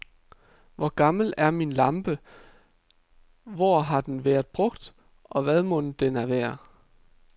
Hvor gammel er min lampe, hvor har den været brugt, og hvad mon den er værd.